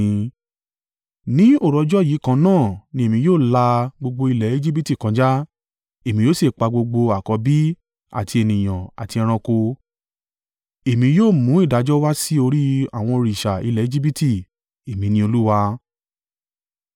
“Ní òru ọjọ́ yìí kan náà ni Èmi yóò la gbogbo ilẹ̀ Ejibiti kọjá, èmi yóò sì pa gbogbo àkọ́bí àti ènìyàn, àti ẹranko, èmi yóò mú ìdájọ́ wà sí orí àwọn òrìṣà ilẹ̀ Ejibiti. Èmi ni Olúwa.”